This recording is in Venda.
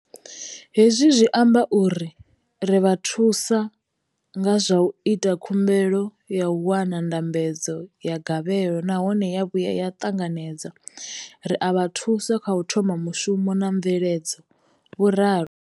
Hezwi zwi amba uri ri vha thusa nga zwa u ita khumbelo ya u wana ndambedzo ya gavhelo nahone ya vhuya ya ṱanganedzwa, ri a vha thusa kha u thoma mushumo na mveledzo, vho ralo.